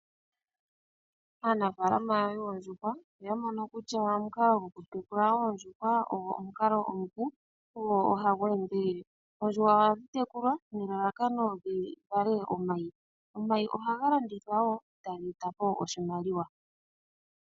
Aanafaalama yoondjuhwa oya mono kutya, oku tekula oondjuhwa ogo omukalo omupu no hagu endelele. Oondjuhwa ohadhi tekulwa nelalakano opo dhi vale omayi. Omayi ohaga landithwa woo tage eta po oshimaliwa.